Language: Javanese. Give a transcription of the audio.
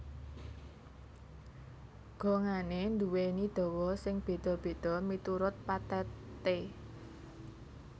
Gongané nduwèni dawa sing béda béda miturut patheté